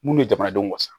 Mun ye jamanadenw wasa